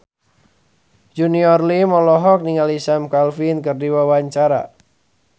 Junior Liem olohok ningali Sam Claflin keur diwawancara